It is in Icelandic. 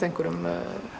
einhverjum